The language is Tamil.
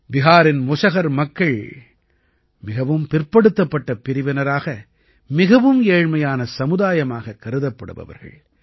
பிஹாரின் முஸஹர் மக்கள் மிகவும் பிற்படுத்தப்பட்ட பிரிவினராக மிகவும் ஏழ்மையான சமுதாயமாகக் கருதப்படுபவர்கள்